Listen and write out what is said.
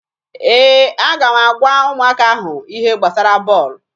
Ee, aga m agwa ụmụaka ahụ ihe gbasara bọọlụ.